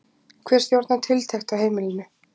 Hver stjórnar tiltekt á heimilinu?